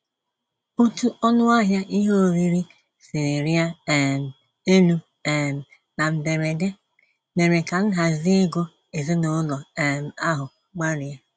Otú ọnụahịa ihe oriri siri rịa um elu um na mberede, mèrè ka nhazi ego ezinaụlọ um ahụ gbarie.